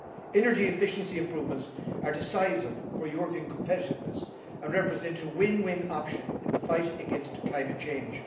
Energy efficiency improvements are decisive for European competitiveness and represent a win win option in the fight against climate change.